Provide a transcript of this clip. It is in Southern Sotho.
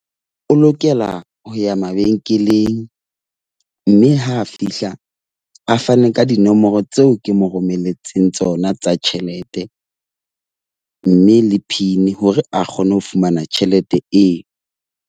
O lokela ho ya mabenkeleng, mme ha a fihla a fane ka dinomoro tseo ke mo romelletseng tsona tsa tjhelete. Mme le PIN hore a kgone ho fumana tjhelete eo.